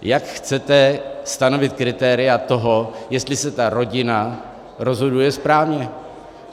Jak chcete stanovit kritéria toho, jestli se ta rodina rozhoduje správně?